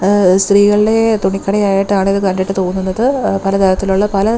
ങ് സ്ത്രീകളുടെ തുണി കടയായിട്ടാണ് ഇത് കണ്ടിട്ട് തോന്നുന്നത് എ പല തരത്തിലുള്ള പല--